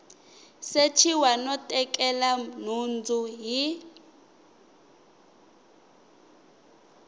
sechiwa no tekela nhundzu hi